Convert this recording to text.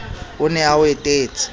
o ne a o etetse